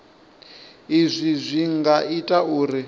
izwi zwi nga ita uri